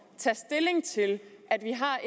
det dejligt det